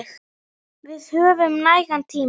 Við höfum nægan tíma.